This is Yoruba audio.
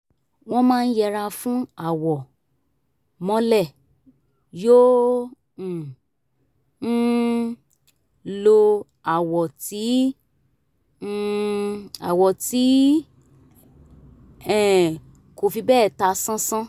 wọ́n máa ń yẹra fún àwọ̀ mọ́lẹ̀ yòò ń um lo àwọ̀ tí um àwọ̀ tí um kò fi bẹ́ẹ̀ ta sánsán